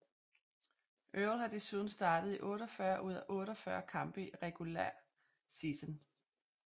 Earl har desuden startet i 48 ud af 48 kampe i regular season